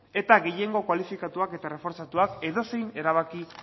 eta gehiengo kualifikatuak eta reforzatuak edozein erabaki